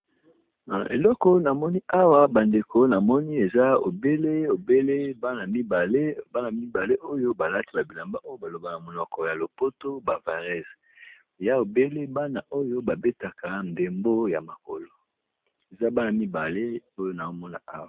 Na eleko na moni awa ba ndeko na moni eza obele obele bana mibale, bana mibale oyo balati ba bilamba oyo ba lobaka na monoko ya lopoto ba vareuses ya obele bana oyo ba betaka ndembo ya makolo eza bana mibale oyo nao mona awa.